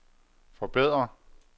forbedre